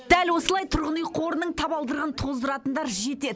дәл осылай тұрғын үй қорының табалдырығын тоздыратындар жетеді